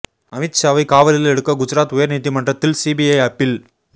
அமித் ஷாவை காவலில் எடுக்க குஜராத் உயர் நீதிமன்றத்தில் சிபிஐ அப்பீல்